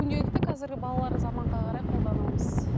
күнделікті қазіргі балалар заманға қарай қолданамыз